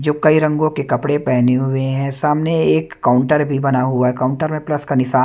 जो कई रंगों के कपड़े पहने हुए हैं सामने एक काउंटर भी बना हुआ है काउंटर में प्लस का निशान--